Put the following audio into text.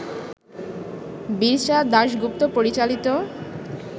বীরসা দাশগুপ্ত পরিচালিত